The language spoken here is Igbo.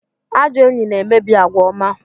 Ajọ enyi na-emebi àgwà ọma